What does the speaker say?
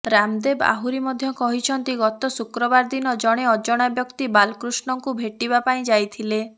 ରାମଦେବ ଆହୁରି ମଧ୍ୟ କହିଛନ୍ତି ଗତ ଶୁକ୍ରବାର ଦିନ ଜଣେ ଅଜଣା ବ୍ୟକ୍ତି ବାଲକୃଷ୍ଣଙ୍କୁ ଭେଟିବା ପାଇଁ ଯାଇଥିଲେ